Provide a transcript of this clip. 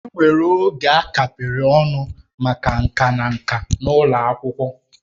Enwere oge a kapịrị ọnụ maka nka na nka n'ụlọ akwụkwọ